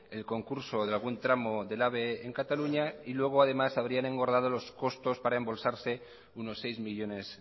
el concurso de algún tramo del ave en cataluña y luego además habrían engordado los costos para embolsarse unos seis millónes